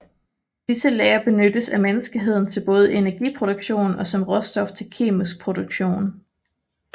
Disse lagre benyttes af menneskeheden til både energiproduktion og som råstof til kemisk produktion